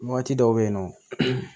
Waati dɔw bɛ yen nɔ